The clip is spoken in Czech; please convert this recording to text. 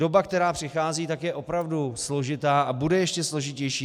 Doba, která přichází, tak je opravdu složitá a bude ještě složitější.